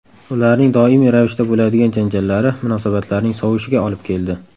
Ularning doimiy ravishda bo‘ladigan janjallari munosabatlarning sovishiga olib keldi.